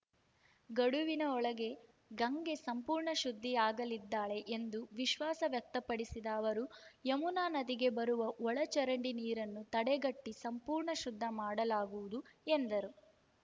ಗಡುವಿನ ಒಳಗೆ ಗಂಗೆ ಸಂಪೂರ್ಣ ಶುದ್ಧಿಯಾಗಲಿದ್ದಾಳೆ ಎಂದು ವಿಶ್ವಾಸ ವ್ಯಕ್ತಪಡಿಸಿದ ಅವರು ಯಮುನಾ ನದಿಗೆ ಬರುವ ಒಳಚರಂಡಿ ನೀರನ್ನು ತಡೆಗಟ್ಟಿಸಂಪೂರ್ಣ ಶುದ್ಧ ಮಾಡಲಾಗುವುದು ಎಂದರು